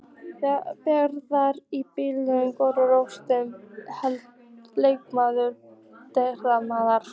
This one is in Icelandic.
Bjarnveig í blikunum Grófasti leikmaður deildarinnar?